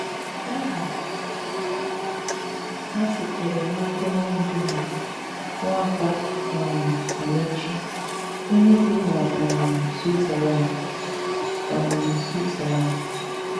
Àhà hà sitere n'aka onye ndú hà, Nwàpà um Àmàèchì, onye bì na um Swìtzerlànd. um Swìtzerlànd.